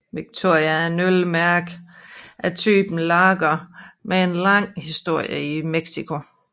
Victoria er et ølmærke af typen lager med en lang historie i Mexico